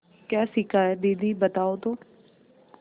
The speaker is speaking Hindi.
क्या सीखा है दीदी बताओ तो